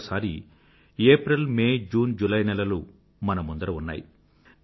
మరోసారి April May June July నెలలు మన ముందర ఉన్నాయి